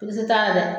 Polisi tɛ taa dɛ